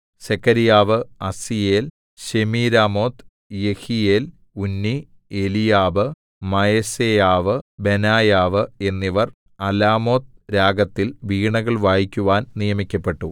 സെഖര്യാവ് അസീയേൽ ശെമീരാമോത്ത് യെഹീയേൽ ഉന്നി എലീയാബ് മയസേയാവ് ബെനായാവ് എന്നിവർ അലാമോത്ത് രാഗത്തിൽ വീണകൾ വായിക്കുവാൻ നിയമിക്കപ്പെട്ടു